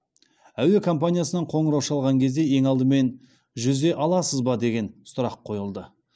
әуе компаниясынан қоңырау шалған кезде ең алдымен жүзе аласыз ба деген сұрақ қойылды